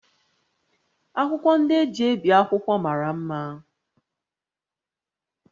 Akwụkwọ ndị e ji ebi akwụkwọ mara mma